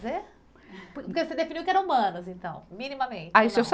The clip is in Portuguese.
Porque você definiu que era humanas, então, minimamente. Aí deixa eu só